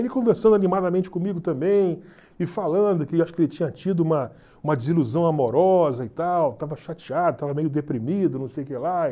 Ele conversando animadamente comigo também, e falando que acho que ele tinha tido uma uma desilusão amorosa e tal, estava chateado, estava meio deprimido, não sei o que lá.